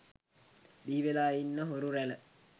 බිහිවෙලා ඉන්න හොරු රැල